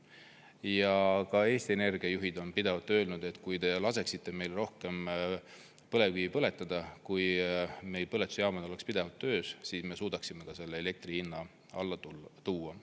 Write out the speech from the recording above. Ja ka Eesti Energia juhid on pidevalt öelnud, et kui te laseksite meil rohkem põlevkivi põletada, kui meil põletusjaamad oleks pidevalt töös, siis me suudaksime selle elektri hinna alla tuua.